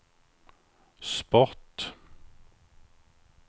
sport